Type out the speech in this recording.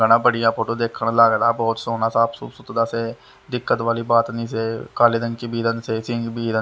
बड़ा बढ़िया फोटो देखने लग रहा बहुत सोना साफ सुतरा से दिक्कत वाली बात नहीं से काले रंग की भीरण से सिग--